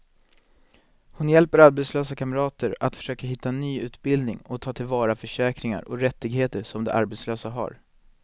Hon hjälper arbetslösa kamrater att försöka hitta ny utbildning och ta till vara försäkringar och rättigheter som de som arbetslösa har.